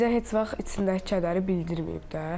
Bizə heç vaxt içindəki kədəri bildirməyib də.